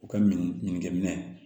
U ka minɛ ɲinikɛ minɛ